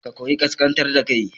Ka koyi ƙasƙantar da kai